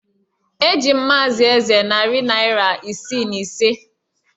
Eji m Maazị Eze narị naira isii na ise